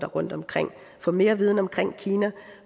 rundt omkring få mere viden omkring klima